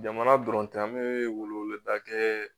Jamana dɔrɔn tɛ an bɛ weleweleda kɛ